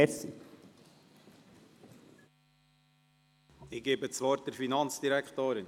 Ich gebe das Wort der Finanzdirektorin.